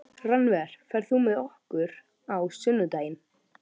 Rannver, ferð þú með okkur á sunnudaginn?